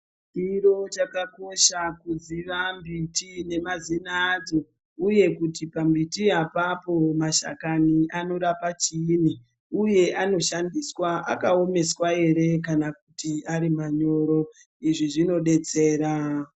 Chiro chakakosha kuziva mbiti nemazina adzo uye kuti pambiti apapo mashakani anorapa chiinyi Uye anoshandiswaa akawomeswa ere kana kuti ari manyoro izvi zvinodetsera.